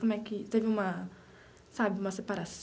Como é que teve uma, sabe, uma